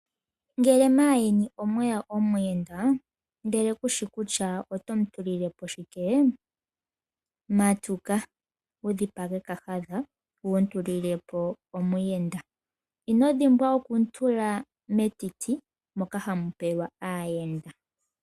Ngele megumbo omweya omuyenda ndele kushi kutya oto mutulilepo shikee? Matuka wudhipage kahadha wumutulilepo omuyenda inodhimbwa okumu tula metiti moka hamu pelwa aayenda.